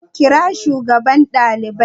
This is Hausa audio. Kira shugaban daliban